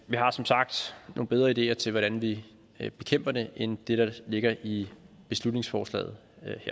vi har som sagt nogle bedre ideer til hvordan vi vi bekæmper det end det der ligger i beslutningsforslaget